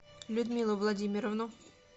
людмилу владимировну